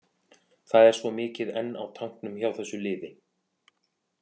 Það er svo mikið enn á tanknum hjá þessu liði.